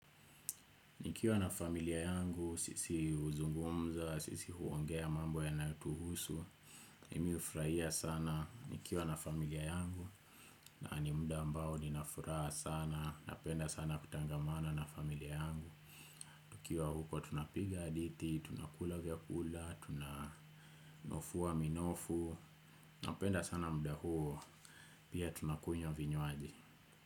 Nikiwa na familia yangu, sisi huzungumza, sisi huongea mambo yanayotuhusu mimi hufurahia sana nikiwa na familia yangu. Na ni mda ambao nina furaha sana, napenda sana kutangamana na familia yangu. Nikiwa huko tunapiga jadithi, tunakula vyakula, tunanofua minofu. Napenda sana mda huo, pia tunakunywa vinywaji.